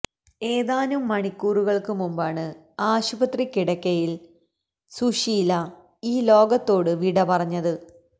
ഏതാനും മണിക്കൂറുകള് മുമ്പാണ് ആശുപത്രിക്കിടക്കയില് സുശീല ഈ ലോകത്തോടു വിടപറഞ്ഞത്